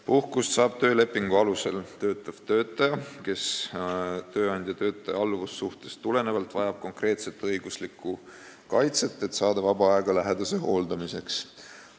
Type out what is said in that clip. Puhkust saab töölepingu alusel töötav töötaja, kes tööandja ja töötaja alluvussuhtest tulenevalt vajab konkreetset õiguslikku kaitset, et saada vaba aega lähedase hooldamiseks.